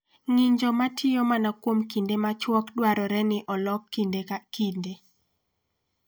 Ng'injo ma tiyo mana kuom kinde machuok dwarore ni olok kinde ka kinde.